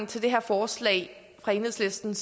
til det her forslag fra enhedslisten